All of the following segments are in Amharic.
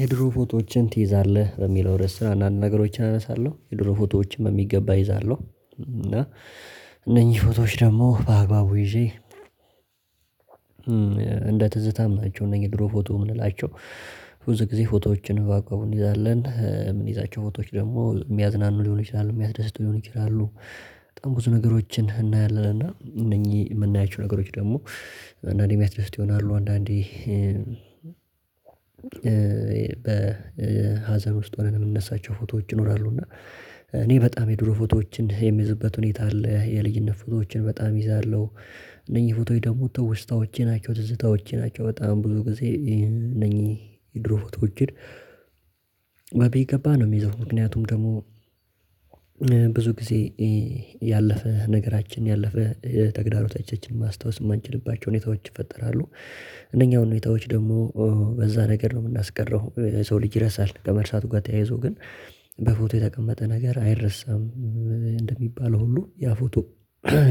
የድሮ ፎቶዎችን ትይዛለህ በሚለው ርዕስ አንዳንድ ነገሮችን አነሳለሁ የድሮ ፎቶዎችም በሚገባ እይዛለሁ እና እነኚህ ፎቶዎች ደግሞ በአግባቡ ይዤ እንደ ትዝታማቸው እነዚህ ድሮ ፎቶ የምንላቸው። ብዙ ጊዜ ፎቶዎችን ባቆም እንይዛለን ምን ይዛቸው ፎቶች ደግሞ የሚያዝናኑ ሊሆን ይችላሉ የሚያስደስተው ሊሆን ይላሉ። በጣም ብዙ ነገሮችን እናያለን እና እነኚህ የምናያቸው ነገሮች ደግሞ አንዳንዴ የሚያስደስት ይሆናሉ አንዳንዴ በሀዘን ውስጥ ሆነን የምነሳቸው ፎቶዎች ይኖራሉ። እና እኔ በጣም የድሮ ፎቶዎችን የምይዝበት ሁኔታ አለ የልጅነት ፎቶዎችን በጣም ይዛለሁ። እነኚህ ፎቶዎች ደግሞ ትወስታዎች ናቸው ትዝታዎች ናቸው። በጣም ብዙ ጊዜ እነኚህ የድሮ ፎቶዎቼን በሚገባ ነው የሚይዘው ምክንያቱም ደግሞ ብዙ ጊዜ ያለፈ ነገራችን ያለፈ ተግዳሮ ተቸችን ማስታወስ የማንችልባቸው ሁኔታዎች ይፈጠራሉ። እነኛ ሁኔታዎች ደግሞ በዛ ነገር ነው የምናስቀረው የሰው ልጅ ይረሳል። ከመርሳት ጋር ተያይዞ ግን በፎቶ የተቀመጠ ነገር አይረሳም። እንደሚባለው ሁሉ ያ ፎቶ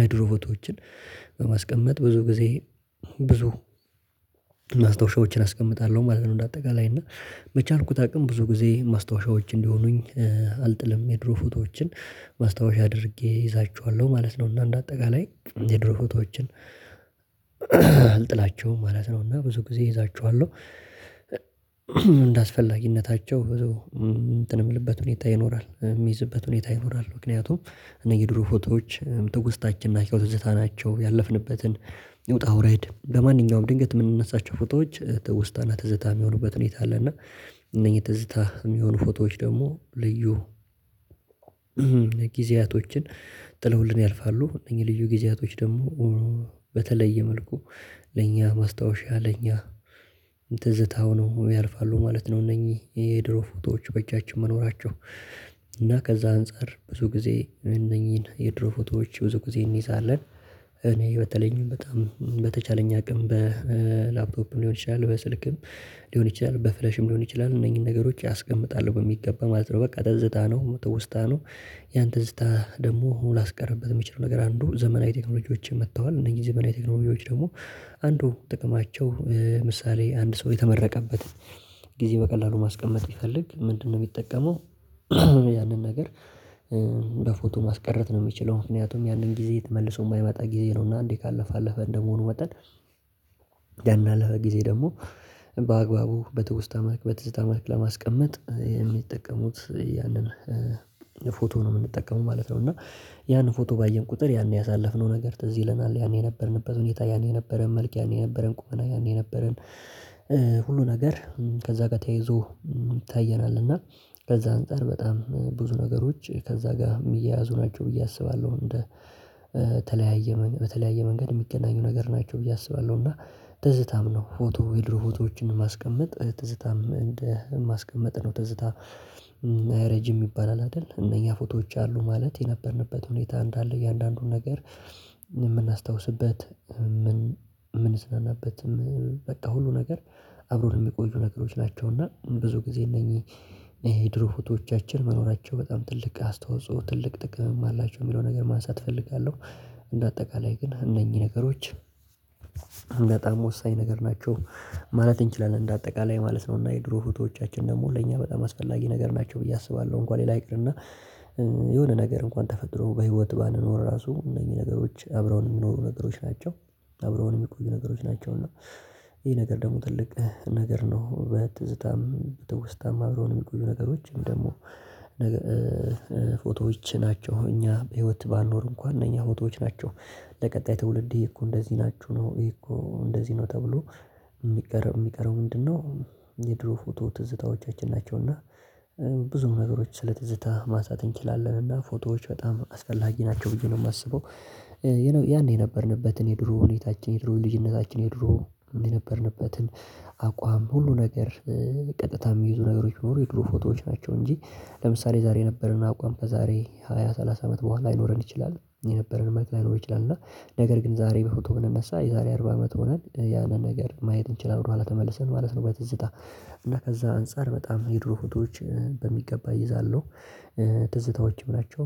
የድሮ ፎቶዎችን በማስቀመጥ ብዙ ጊዜ ብዙ አስቀምጣለሁ ማለት ነው። እንደ አጠቃላይ እና በቻልኩት አቅም ብዙ ጊዜ ማስታወሻዎች እንዲሆኑኝ አልጥልም። የድሮ ፎቶዎችን ማስታወሻ አድርጌ እይዛችኋለሁ ማለት ነው። እና እንደ አጠቃላይ የድሮ ፎቶዎችን አልጥላቸውም ማለት ነው። እና ብዙ ጊዜ እይዛችኋለሁ እንደአስፈላጊነታቸው የምልበት ሁኔታ ይኖራል የሚይዝበት ሁኔታ ይኖራል። ምክንያቱም እነዚህ የድሮ ፎቶዎች ትውስታችን ናቸው ትዝታ ናቸው ያለፍንበትን ውጣ ውረድ በማንኛውም ድንገት የምንነሳቸው ፎቶዎች ትወስታና ትዘታ የሚሆኑበት ሁኔታ አለ። እና እነኚህ ትዝታ የሚሆኑ ፎቶዎች ደግሞ ልዩ ጊዜያቶችን ጥለውልን ያልፋሉ እነዚህ ልዩ ጊዜያቶች ደግሞ በተለየ መልኩ ለኛ ማስታወሻ ለኛ ትዝታሁነው ያልፋሉ ማለት ነው። እነኚህ የድሮ ፎቶዎች በእጃችን መኖራቸው እና ከዛ አንፃር ብዙ ጊዜ እነኚህን የድሮ ፎቶዎች ብዙ ጊዜ እንይዛለን። እኔ በተለይንም በጣም በተቻለኝ አቅም በላብቶብም ሊሆን ይችላል በስልክም ሊሆን ይችላል በፍሌሽም ሊሆን ይችላል እነኚህን ነገሮች አስቀምጣለሁ በሚገባ ማለት ነው። በቃ ትዝታ ነው ውስታ ነው። ያን ትዝታ ደግሞ ላስቀርብበት የምችለው ነገር አንዱ ዘመናዊ ቴክኖሎጂዎችን መጥተዋል እነዚህ ዘመናዊ ቴክኖሎጅ ደግሞ አንዱ ጥቅማቸው ምሳሌ አንድ ሰው የተመረቀበትን ጊዜ በቀላሉ ማስቀመጥ ይፈልግ ምንድነው? የሚጠቀመው ያንን ነገር በፎቶ ማስቀረት ነው። የምችለው ምክንያቱም ያንን ጊዜ ትመልሰው የማይመጣ ጊዜ ነው። እና አንዴ ካለፈ አለፈ እንደመሆኑ መጠን ያን አለፈ ጊዜ ደግሞ በአግባቡ በትውስታ መልክ በትውስታ መልክ ለማስቀመጥ የሚጠቀሙት ያንን ፎቶ ነው የምንጠቀመው ማለት ነው። እና ያንን ፎቶ ባየን ቁጥር ያን ያሳለፍነው ነገር ትዝ ይለናል ያኔ የነበርንበት ሁኔታ ያኔ የነበረን መልክ ያኔ የነበረን ቁመና ያኔ የነበረን ሁሉ ነገር ከዛ ጋር ተያይዞ ይታየናል። እና ከዛ አንፃር በጣም ብዙ ነገሮች ከዛ ጋር የሚያያዙ ናቸው ብዬ አስባለሁ። እንደ ተለያየ በተለያየ መንገድ የሚገናኙ ነገር ናቸው ብዬ አስባለሁ። እና ትዝታም ነው ፎቶ የድሮ ፎቶዎችን ማስቀመጥ ትዝታም እንደ ማስቀመጥ ነው ትዝታ ረጅም ይባላል አይደል? እነኛ ፎቶዎች አሉ ማለት የነበርንበት ሁኔታ እንዳለ እያንዳንዱን ነገር የምናስታውስበት ምን ምንሰራበት በቃ ሁሉ ነገር አብሮ ለሚቆዩ ነገሮች ናቸው። እና ብዙ ጊዜ እነኚህ የድሮ ፎቶዎቻችን መኖራቸው በጣም ትልቅ አስተዋጽኦ ትልቅ ጥቅምም አላቸው የሚለው ነገር ማንሳት እፈልጋለሁ። እንደ አጠቃላይ ግን እነኚህ ነገሮች ወሳኝ ነገር ናቸው ማለት እንችላለን። እንደ አጠቃላይ ማለት ነው እና የድሮ ፎቶዎቻችን ደግሞ ለእኛ በጣም አስፈላጊ ነገር ናቸው ብዬ አስባለሁ። እንኳን ሌላ ይቅርና የሆነ ነገር እንኳን ተፈጥሮ በህይወት ባንኖር ራሱ እነኚህ ነገሮች አብረው የሚኖሩ ነገሮች ናቸው አብረው የሚቆዩ ነገሮች ናቸው። እና ይሄ ነገር ደግሞ ትልቅ ነገር ነው። በትዝታም በትውስታም አብረው የሚቆዩ ነገሮችን ደግሞ ፎቶዎች ናቸው እኛ በህይወት ባንኖር እንኳን እነኛ ፎቶዎች ናቸው። ለቀጣይ ትውልድ እኮ እንደዚህ ናችሁ ነው እኮ እንደዚህ ነው ተብሎ የሚቀረው የሚቀረብ ምንድነው? የድሮ ፎቶ ትዝታዎቻችን ናቸው። እና ብዙ ነገሮች ስለ ትዝታ ማሳት እንችላለን እና ፎቶዎች በጣም አስፈላጊ ናቸው ብዬ ነው የማስበው። ያኔ የነበርንበትን የድሮ ሁኔታችን የድሮ ልጅነታችን የድሮ የነበርንበትን አቋም ሁሉ ነገር ቀጥታ የሚይዙ ነገሮች ቢኖሩ የድሮ ፎቶዎች ናቸው። እንጂ ለምሳሌ ዛሬ የነበረን አቋም ከዛሬ ሃያ ሰላሳ አመት በኋላ ይኖረን ይችላል። የነበረን መጥለጥ ላይሆን ይችላል። እና ነገር ግን ዛሬ በፎቶ ብንነሳ የዛሬ አርባ አመት ሆነን ያንን ነገር ማየት እንችላለን። በኋላ ተመልሰን ማለት ነው። በትዝታ እና ከዛ አንፃር በጣም የድሮ ፎቶዎችን በሚገባ እይዛለሁ። ትዝታዎችን ናቸው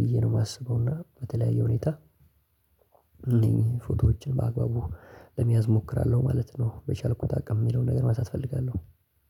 ብዬ ነው የማስበው እና በተለያየ ሁኔታ እነኝህ ፎቶዎችን በአግባቡ ለሚያዝ እሞክራለሁ ማለት ነው። በቻልኩት አቅም የሚለውን ነገር ማሳት እፈልጋለሁ።